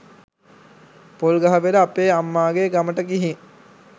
පොල්ගහවෙල අපේ අම්මාගේ ගමට ගිහිං